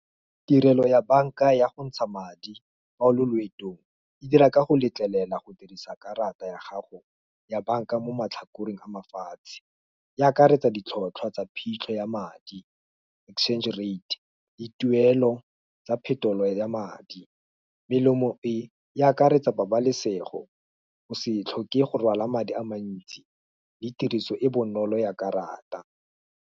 Tirelo ya banka ya go ntsha madi, fa o le loetong, e dira ka go letlelela go dirisa karata ya gago ya banka mo matlhakoreng mafatshe, ya akaretsa ditlhotlhwa tsa phitlho ya madi, exchange rate, le tuelo tsa phetolo ya madi, melemo e, e akaretsa pabalesego, go se tlhoke go rwala madi a mantsi. Le tiriso e bonolo ya karata.